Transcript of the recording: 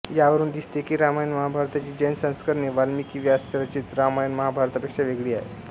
यावरून दिसते की रामायणमहाभारताची जैन संस्करणे वाल्मिकीव्यासरचित रामायणमहाभारतांपेक्षा वेगळी आहेत